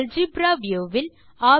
algebra view will